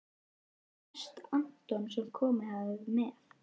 Mest Anton sem komið hafði með